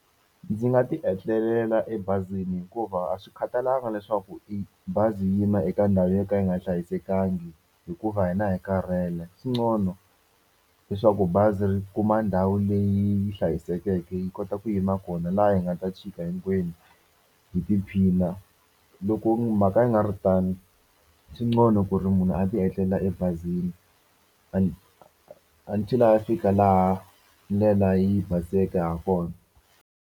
Ndzi nga tietlelela ebazini hikuva a swi khatalanga leswaku i bazi yi yima eka ndhawu yo ka yi nga hlayisekangi hikuva hina hi karhele ku ngcono leswaku bazi ri kuma ndhawu leyi yi hlayisekeke yi kota ku yima kona laha hi nga ta tshika hinkwenu, hi tiphina. Loko mhaka yi nga ri tano swi ngcono ku ri munhu a tietlelela ebazini until a ya fika laha ndlela yi baseke ha kona.